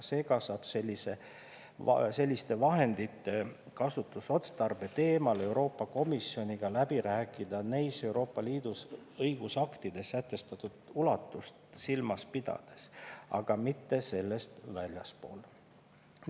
Seega saab selliste vahendite kasutusotstarbe teemal Euroopa komisjoniga läbi rääkida neis EL õigusaktides sätestatud ulatust silmas pidades, aga mitte sellest väljaspool.